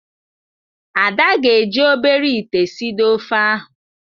Ada ga-eji obere ite sidoo ofe ahụ.